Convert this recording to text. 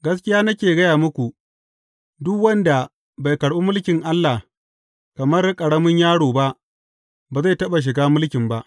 Gaskiya nake gaya muku, duk wanda bai karɓi mulkin Allah kamar ƙaramin yaro ba, ba zai taɓa shiga mulkin ba.